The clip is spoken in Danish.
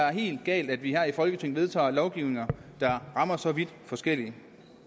er helt galt at vi her i folketinget vedtager lovgivning der rammer så vidt forskelligt